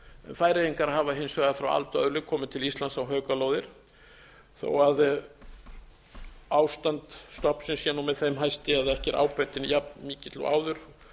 færeyingar hafa hins vegar frá aldaöðli komið til íslands á haukalóðir þó ástand stofnsins sé nú með þeim hætti að ekki er ábatinn jafn mikill og áður